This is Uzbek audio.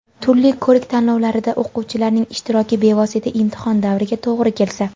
turli ko‘rik-tanlovlarida o‘quvchilarning ishtiroki bevosita imtihon davriga to‘g‘ri kelsa.